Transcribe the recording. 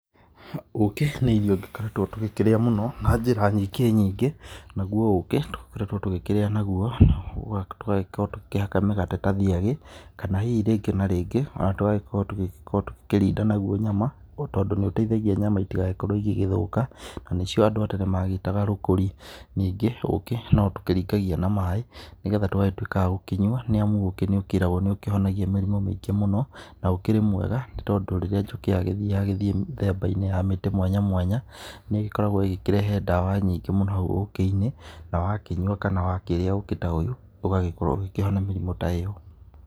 Ũkĩ nĩ irio tũkoretwo tũgĩkĩrĩa mũno na njĩra nyingĩ nyingĩ, na guo ũkĩ nĩ tũkoretwo tũkĩrĩa na guo, tũgagĩkorwo tũkĩhaka mĩgate ta thiagĩ, kana hihi rĩngĩ na rĩngĩ tũgagĩkorwo tũgagĩkorwo tũkĩrinda naguo nyama tondũ nĩ ũteithagia nyama itigagĩkorwo igĩgĩthũka na nĩ cio andũ a tene magĩtaga rũkũri. Ningĩ ũkĩ no tũkĩringagia na maaĩ nĩ getha tũgagĩtuika agũkĩnyua nĩ amũ ũkĩ nĩ ũkĩragwo nĩ ũkĩhonagia mĩrimũ mĩingĩ mũno na ũkĩrĩ mwega tondũ rĩrĩa njũkĩ yagĩthiĩ rĩambainĩ ya mĩtĩ mwanya mwanya, nĩ ĩgĩkoragwo ĩgĩkĩrehe ndawa nyngĩ mũno ũkĩ-inĩ na wakĩnyua kana wakĩrĩa ũkĩ ta ũyũ, ũgagĩkorwo ugĩkĩhona mĩrĩmũ ta ĩyo.